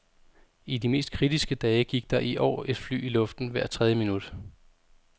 I de mest kritiske dage gik der i år et fly i luften hvert tredje minut.